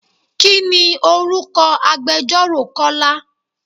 Kini orúkọ agbẹjoro Kọ́lá?